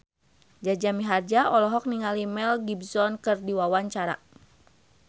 Jaja Mihardja olohok ningali Mel Gibson keur diwawancara